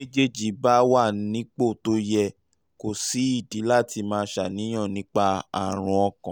bí àwọn méjèèjì bá um wà nípò tó yẹ kò sídìí láti máa ṣàníyàn nípa àrùn ọkàn